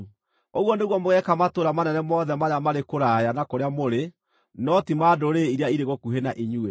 Ũguo nĩguo mũgeeka matũũra manene mothe marĩa marĩ kũraya na kũrĩa mũrĩ no ti ma ndũrĩrĩ iria irĩ gũkuhĩ na inyuĩ.